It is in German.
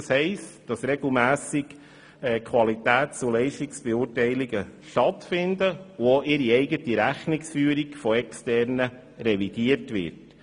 das heisst, dass regelmässige Qualitäts- und Leistungsbeurteilungen stattfinden und auch ihre eigene Rechnungsführung von Externen revidiert wird.